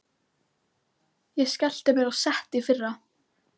Ég skellti mér á sett í fyrra.